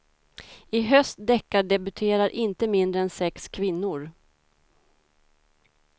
I höst deckardebuterar inte mindre än sex kvinnor.